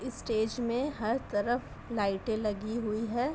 Stage में हर तरफ लाइटे लगी हुई हैं।